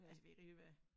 Altså ved ikke rigtig hvad